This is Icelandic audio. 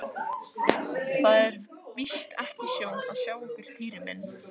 Það er víst ekki sjón að sjá okkur Týri minn